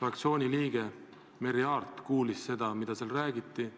fraktsiooni liige Merry Aart kuulis seda, mida seal räägiti.